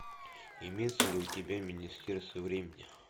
имеется ли у тебя министерство времени